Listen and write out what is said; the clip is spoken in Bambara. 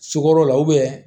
Sukoro la